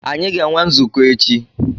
Anyị ga-enwe nzukọ echi.